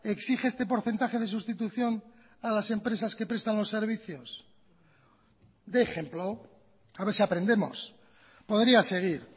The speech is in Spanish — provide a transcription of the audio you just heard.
exige este porcentaje de sustitución a las empresas que prestan los servicios dé ejemplo a ver si aprendemos podría seguir